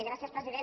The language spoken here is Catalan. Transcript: gràcies president